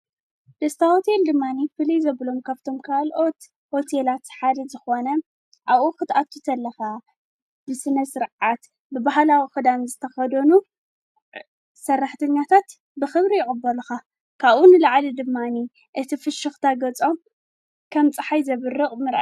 ደስተ ሆቴል ድማኒ ፈልይ ዘብሎም ካብቶም ካልኦት ሆቴላት ሓደ ዝኾነ ኣብኡ ኽትኣቱ ከላከ ብስነ ስርዓት ብባህላዊ ኽዳን ዝተኸዶኑ ሰራሕትኛታት ብኽብሪ ይቕበሊካ። ካብኡ ንላዕሊ ድማኒ እቲ ፍሽኽታ ገጾም ከም ፀሓይ ዘብርቕ ምርኣይ።